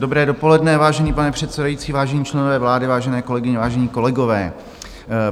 Dobré dopoledne, vážený pane předsedající, vážení členové vlády, vážené kolegyně, vážení kolegové.